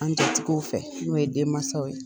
An jatigiw fɛ n'o ye denmansaw ye.